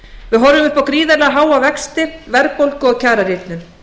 við horfum upp á gríðarlega háa vexti verðbólgu og kjararýrnun